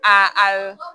Aa